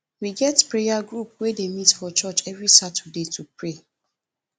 we get prayer group wey dey meet for church every saturday to pray